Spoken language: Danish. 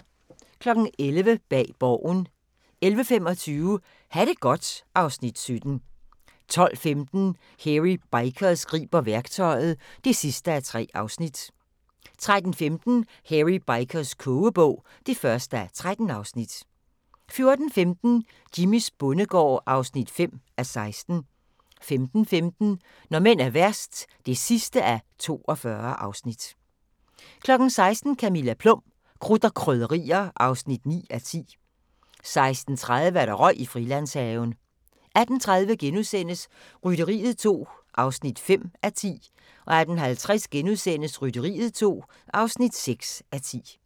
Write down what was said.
11:00: Bag Borgen 11:25: Ha' det godt (Afs. 17) 12:15: Hairy Bikers griber værktøjet (3:3) 13:15: Hairy Bikers kogebog (1:13) 14:15: Jimmys bondegård (5:16) 15:15: Når mænd er værst (42:42) 16:00: Camilla Plum – Krudt og Krydderier (9:10) 16:30: Røg i Frilandshaven 18:30: Rytteriet 2 (5:10)* 18:50: Rytteriet 2 (6:10)*